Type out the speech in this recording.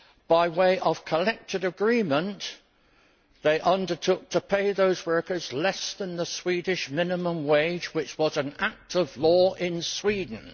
By way of collective agreement, they undertook to pay those workers less than the Swedish minimum wage, which was an act of law in Sweden.